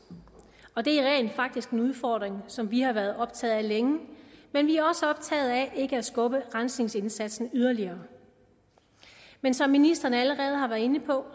og det er rent faktisk en udfordring som vi har været optaget af længe men vi er også optaget af ikke at skubbe rensningsindsatsen yderligere men som ministeren allerede har været inde på